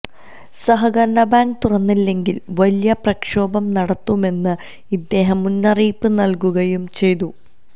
സഹകരണബാങ്ക് തുറന്നില്ലെങ്കില് വലിയ പ്രക്ഷോഭം നടത്തുമെന്ന് ഇദ്ദേഹം മുന്നറിയിപ്പ് നല്കുകയും ചെയ്തു